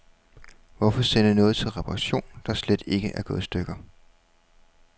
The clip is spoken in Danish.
Hvorfor sende noget til reparation, der slet ikke er gået i stykker.